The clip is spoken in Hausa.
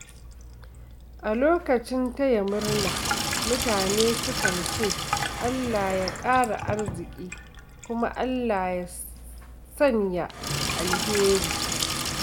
A lokacin taya murna, mutane sukan ce “Allah ya ƙara arziki” ko “Allah ya sanya alheri.”